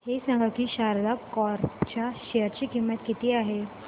हे सांगा की शारदा क्रॉप च्या शेअर ची किंमत किती आहे